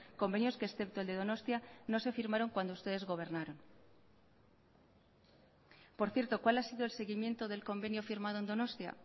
convenios que excepto el de donostia no se firmaron cuando ustedes gobernaron por cierto cuál ha sido el seguimiento del convenio firmado en donostia